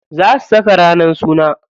Za su saka ranar suna.